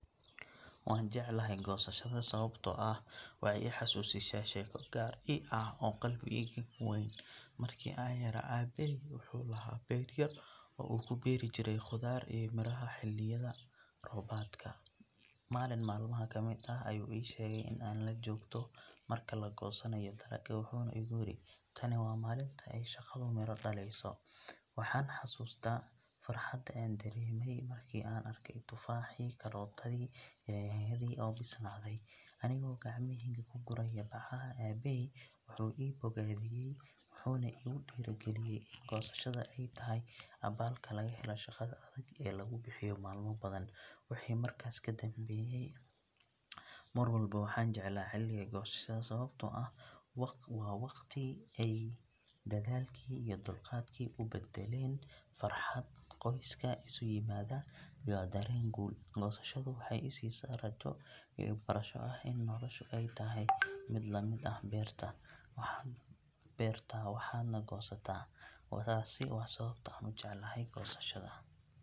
Waan jeclahay goosashada sababtoo ah waxay i xasuusisaa sheeko gaar ii ah oo qalbigayga ku weyn. Markii aan yaraa, aabbahay wuxuu lahaa beer yar oo uu ku beeri jiray khudaar iyo miraha xilliyada roobaadka. Maalin maalmaha ka mid ah ayuu ii sheegay in aan la joogto marka la goosanayo dalagga, wuxuuna igu yiri, “tani waa maalinta ay shaqadu midho dhalayso.” Waxaan xasuustaa farxadda aan dareemay markii aan arkay tufaaxii, karootadii, iyo yaanyadii oo bislaaday, anigoo gacmahayga ku guraya bacaha. Aabbahay wuu i bogaadiyay wuxuuna igu dhiirrigeliyay in goosashada ay tahay abaalka laga helo shaqada adag ee lagu bixiyo maalmo badan. Wixii markaas ka dambeeyay, mar walba waxaan jeclaa xilliga goosashada sababtoo ah waa waqti ay dadaalkii iyo dulqaadkii u badalaan farxad, qoyska oo isu yimaada, iyo dareen guul. Goosashadu waxay i siisaa rajo iyo barasho ah in noloshu ay tahay mid la mid ah beerta, waxaad beertaa waxaadna goosataa. Taasi waa sababta aan u jeclahay goosashada.